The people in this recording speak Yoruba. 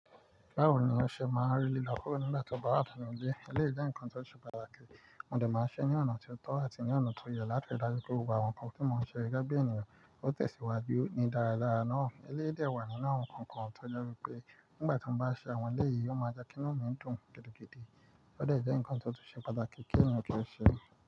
Báwo ni ó ṣe máa rí lílo kurọ́ nígbà tí ó bá wà nínú ilé? Eléyìí jẹ́ ǹnkan tó ṣe pàtàkì, mo dè máa ṣe é ní ọ̀nà tó tọ́ àti ní ọ̀nà tó yẹ láti rí i dájú pé gbogbp àwọn nǹkan tí mo ń ṣe gẹ́gẹ́ bí ènìyàn tó tẹ̀síwájú ní dáradára náà. Eléyìí dẹ̀ wà nínú àwọn nǹkan kan tó je pé nígbà tí mo bá ṣe àwọn ẹlẹ́yìí, ó máa jẹ́ kí inú mi dùn gidigidi, ó dè jẹ́ nnkan tó ṣe pàtàkì kí ènìyàn tó ṣe é.